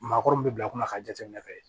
Maakɔrɔ min bɛ bila kunna ka jateminɛ kɛ